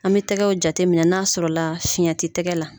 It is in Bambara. An bɛ tɛgɛw jate minɛ n'a sɔrɔ la fiyɛn ti tɛgɛ la.